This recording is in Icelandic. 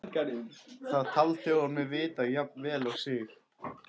Það taldi hún mig vita jafn vel og sig.